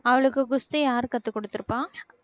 அவளுக்கு குஸ்தி யார் கத்துக்கொடுத்திருப்பா